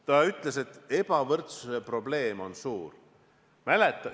Selles öeldi, et ebavõrdsuse probleem on suur.